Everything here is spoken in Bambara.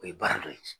O ye baara dɔ ye